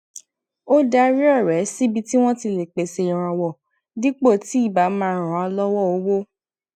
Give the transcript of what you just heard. ó darí ọrẹ síbi tí wọn ti lè pèsè ìrànwọ dípò tí ì bá máa ràn án lọwọ owó